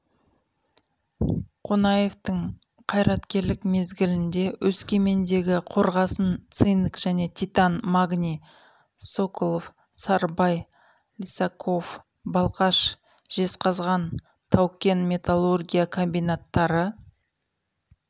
қонаевтың қайраткерлік мезгілінде өскемендегі қорғасын цинк және титан магний соколов-сарыбай лисаков балқаш жезқазған тау-кен металургия комбинаттары